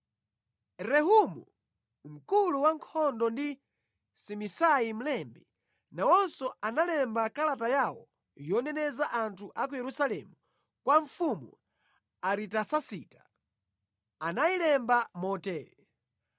Rehumu mkulu wankhondo ndi Simisai mlembi, nawonso analemba kalata yawo yoneneza anthu a ku Yerusalemu kwa mfumu Aritasasita. Anayilemba motere: